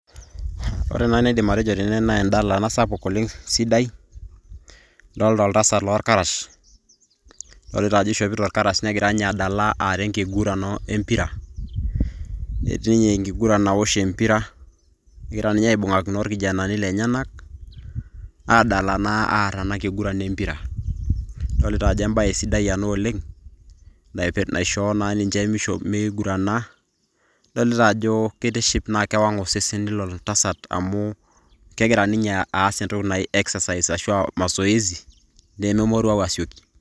Ore enaidim atejo tene naa endala ena sapuk oleng sidai adoolta oltasat loorkarash ,adolita ajo eishopito ninye irkarash negira adala aaa enkiguran empira etii ninye enkiguran awosh empira egira ninye aibun'akino orkijanani lenyenak aadala naa aar enakiguran empira adolita ajo embae sidai ena oleng naishoo naa ninche meigurana adolita ajo keitiship naa kewang osesen lilo tasat amu kegira ninye aas entoki naji exercise ashua mazoezi nememoruau asioki.